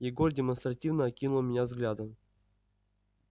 егор демонстративно окинул меня взглядом